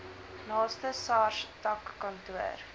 naaste sars takkantoor